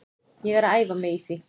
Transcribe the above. Ég er að æfa mig í því.